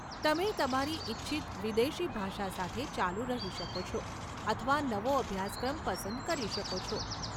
તમે તમારી ઇચ્છિત વિદેશી ભાષા સાથે ચાલુ રહી શકો છો અથવા નવો અભ્યાસક્રમ પસંદ કરી શકો છો.